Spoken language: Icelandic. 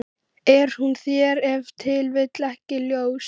Er það ekki uppreisnarandinn- í öllum og alls staðar.